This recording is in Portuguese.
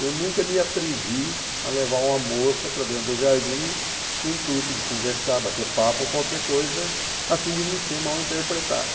eu nunca me atrevi a levar uma moça para dentro do jardim com o intuito de conversar, bater papo ou qualquer coisa, a fim de não ser mal interpretado.